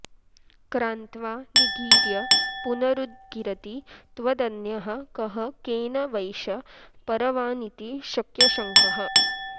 क्रान्त्वा निगीर्य पुनरुद्गिरति त्वदन्यः कः केन वैष परवानिति शक्यशङ्कः